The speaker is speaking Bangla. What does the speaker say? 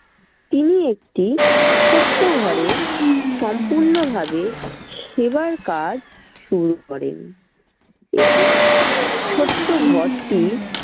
তিনি একটি ছোট্ট ঘরে সম্পূর্ণ ভাবে সেবার কাজ শুরু করেন। এই ছোট্ট ঘরটি